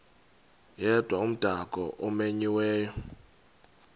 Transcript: yedwa umdaka omenyiweyo